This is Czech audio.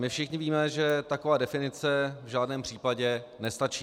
My všichni víme, že taková definice v žádném případě nestačí.